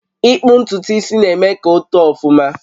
Ịkpu ntutu isi na-eme ka o too ọfụma